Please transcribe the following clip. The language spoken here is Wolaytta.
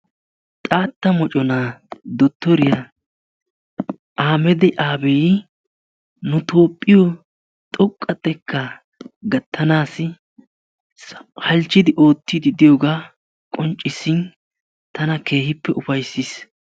Xaatta moccona Dottoriyaa Aahammadi Aabi nu Toophiyo xoqqa xekka gattanassi halchchidi oottidi diyooga qonccissin tana keehippe ufayssiis.